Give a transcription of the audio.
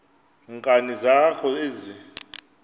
nkani zakho ezi